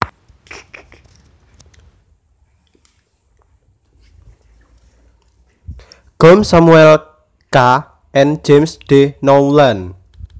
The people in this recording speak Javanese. Gove Samuel K and James D Nowlan